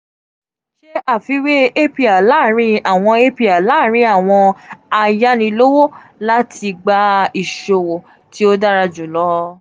ṣe afiwe apr laarin awọn apr laarin awọn ayanilowo lati gba iṣowo ti o dara julọ.